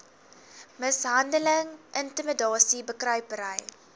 mishandeling intimidasie bekruipery